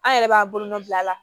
An yɛrɛ b'a bolonɔ bila a la